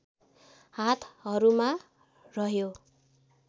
हातहरूमा रह्यो